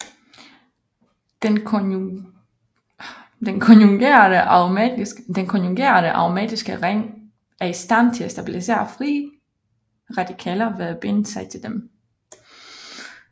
Den konjugerede aromatiske ring er i stand til at stabilisere frie radikaler ved at binde sig til dem